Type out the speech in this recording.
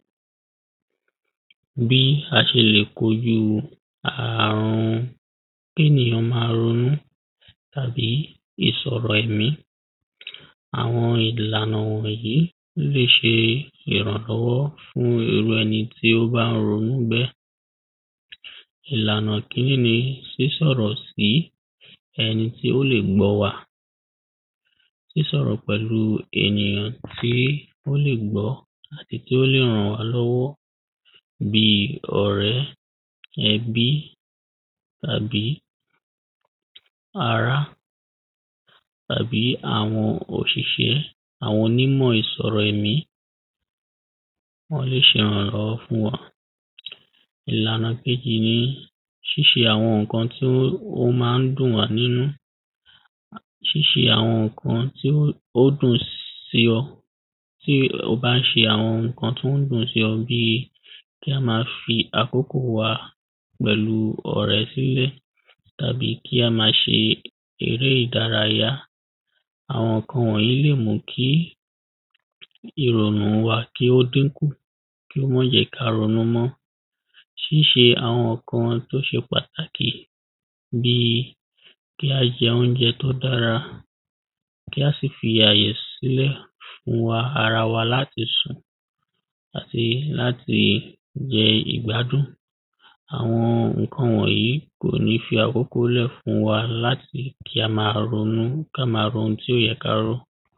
bíi a ṣe lè kojú àrun kénìyàn ma ronú àbí ìsọ̀rọ̀ ẹ̀mí àwọn ìlànà wọ̀nyí ló lè ṣe ìrànlọ́wọ́ fún irú ẹni tí ó bá ronú bẹ́ẹ̀ ìlànà kíní ni sísọ̀rọ̀ sí ẹni tí ó lè gbọ́ wa sísọ̀rọ̀ pẹ̀lú ènìyàn tí ó lè gbọ́ àbí tí ó lè ràn wá lọ́wọ́ bíi ọ̀rẹ́, ẹbí tàbí ará tàbí àwọn òṣìṣẹ́ àwọn onímọ̀ ìsọ̀rọ̀ ẹ̀mí wọ́n lè ṣe ìrànlọ́wọ́ fún wa. ìlànà kéjì ni ṣíṣe àwọn ǹkan tí ó ma ń dùn wá nínú ṣíṣe àwọn ǹkan tí ó dùn sí ọ. tí ó bá ń ṣe àwọn ǹkan tó ń dùn sí ọ bíi kí á ma fi àkókò wa pẹ̀lú ọ̀rẹ́ sílẹ̀ tàbí kí á ma ṣe eré ìdárayá àwọn ǹkan wọ̀nyí lè mú kí ìrọ̀nù kí ó dínkù, kí ó ma jẹ́ ká ronú mọ́ ṣíṣe àwọn ǹkan tó ṣe pàtàkì bíi kí á jẹ oúnjẹ tó dára kí á sì fi àyè sílẹ̀ fún ara wa láti sùn àti láti jẹ ìgbádùn. àwọn ǹkan wọ̀nyí kò ní fi àkókò lẹ̀ fún wa láti kí á ma ronú, ká ma ro ohun tí ò yẹ kárò